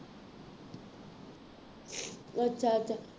ਅੱਛਾ ਅੱਛਾ